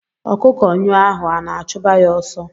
Ọkụkọ nyụọ ahụ ana achuba ya ọsọ.